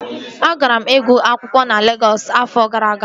Agara m ịgụ akwụkwọ na Legọs afọ gara aga